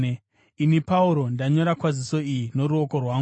Ini Pauro, ndanyora kwaziso iyi noruoko rwangu.